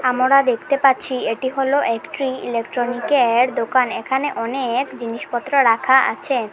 আমোরা দেখতে পাচ্ছি এটি হল একটি ইলেকট্রনিকের দোকান এখানে অনেক জিনিসপত্র রাখা আছে।